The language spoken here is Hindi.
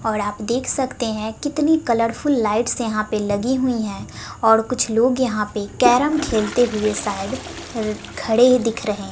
और आप देख सकते हैं कितनी कलरफुल लाइट्स यहां पर लगी हुई है और कुछ लोग यहां पे कैरम खेलते हुए शायद खड़े दिख रहे--